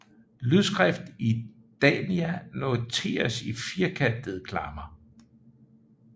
Lydskrift i Dania noteres i firkantede klammer